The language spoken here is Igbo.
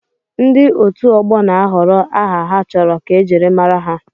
Ndị otu ọgbọ na-ahọrọ aha ha chọrọ ka ejiri mara ha.